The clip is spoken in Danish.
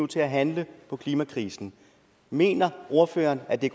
til at handle på klimakrisen mener ordføreren at den